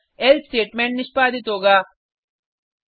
अतः else statement निष्पादित होगा